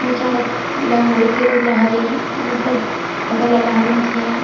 नीचानोत मूर्तिला मतलब फोटो लार लाखा दीन छे।